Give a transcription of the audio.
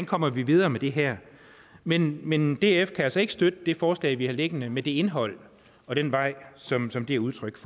kommer videre med det her men men df kan altså ikke støtte det forslag vi har liggende med det indhold og den vej som som det er udtryk